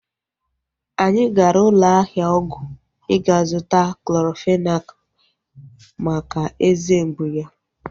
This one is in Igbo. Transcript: Anyị gara ụlọ ahịa ọgwụ ịga zụta Clorofenak maka eze mgbụ ya